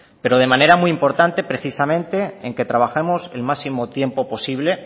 pero de manera muy importante precisamente en que trabajemos el máximo tiempo posible